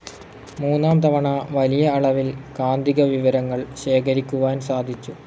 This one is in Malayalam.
മൂന്നാം തവണ, വലിയ അളവിൽ കാന്തിക വിവരങ്ങൾ ശേഖരിക്കുവാൻ സാധിച്ചു.